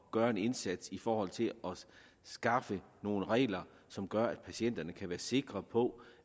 gøre en indsats i forhold til at skaffe nogle regler som gør at patienterne kan være sikre på